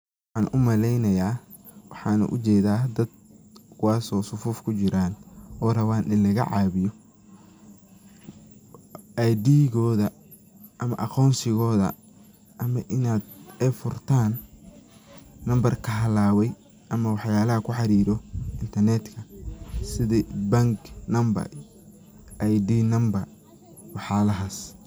Waxan umaleynaya, waxana ujeda dad kuwas oo safuf kujiran oo raban in lagacabiyo aydigodha ama aqonsigodha ama inad ay furtan number kahalabe ama waxyalaha kuxariro intanedka sidhi bank number, ID number wax yalahas.